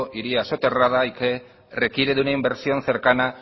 iría soterrada y que requiere de una inversión cercana